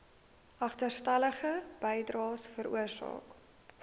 agterstallige bydraes veroorsaak